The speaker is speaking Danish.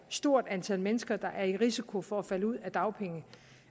stort antal mennesker der er i risiko for at falde ud